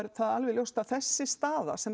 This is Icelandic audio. alveg ljóst að þessi staða sem